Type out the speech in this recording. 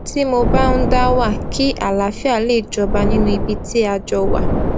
tí mo bá ń dá wà kí àlàáfíà lè jọba nínú ibi tí a jọ wà